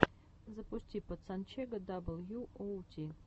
запусти пацанчега дабл ю оу ти